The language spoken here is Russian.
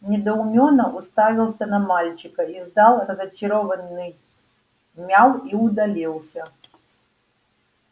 недоумённо уставился на мальчика издал разочарованный мяу и удалился